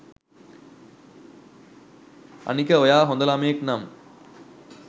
අනික ඔයා හොද ළමයෙක් නම්